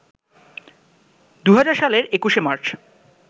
২০০০ সালের ২১শে মার্চ